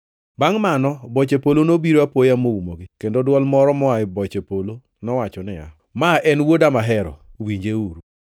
Bangʼ mano boche polo nobiro apoya moumogi, kendo dwol moro moa e boche polo nowacho niya, “Ma en Wuoda mahero, winjeuru!”